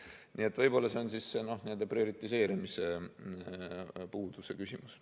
Nii et võib-olla on see prioriseerimise puuduse küsimus.